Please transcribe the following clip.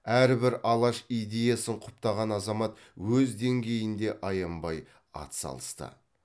әрбір алаш идеясын құптаған азамат өз деңгейінде аянбай ат салысты